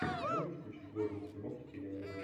можешь включить годный фильмок в стиле аниме